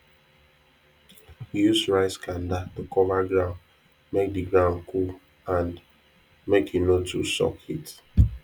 use rice kanda to cover ground make di ground cool and make e no too suck heat